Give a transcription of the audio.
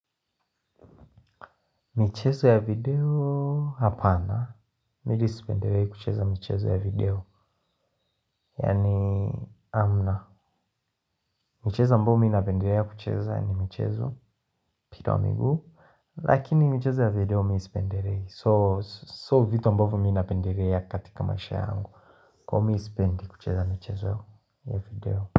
Michezo ya video hapana, mimi spenderei kucheza michezo ya video. Yani hamna. Michezo ambavo mi napendelea kucheza ni michezo mpira wa migu. Lakini michezo ya video mi sipendelei So, so vitu ambavo mi napendelea katika maisha yangu. Kwa mi sipendi kucheza michezo ya video.